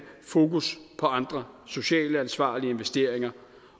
fokus på andre socialt ansvarlige investeringer